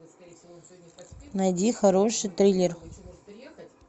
найди хороший триллер